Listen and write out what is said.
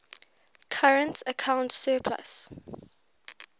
current account surplus